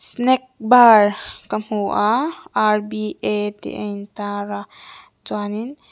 snack bar ka hmu a tih a in tar a chuanin--